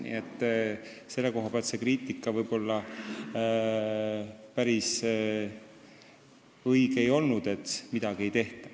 Nii et selle koha pealt ei ole see kriitika, et midagi ei tehta, võib-olla päris õige olnud.